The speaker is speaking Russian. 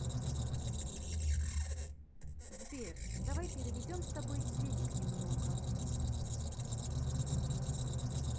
сбер давай переведем с тобой денег немного